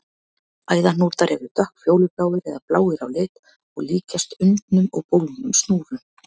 Æðahnútar eru dökkfjólubláir eða bláir á lit og líkjast undnum og bólgnum snúrum.